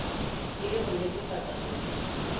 e le ho nnetefatsa hore